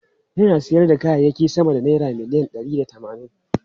Yana sayar da kayayyaki sama da naira miliyan ɗari da tamanin.